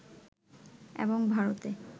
এবং ভারতে